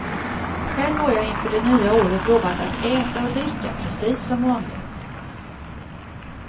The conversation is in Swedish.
Själv har jag inför det nya året lovat att äta och dricka precis som vanligt.